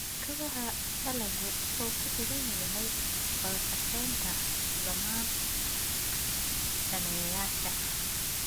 Kobaca dalaggu wuxuu ku xidhan yahay wada shaqaynta dhammaan daneeyayaasha.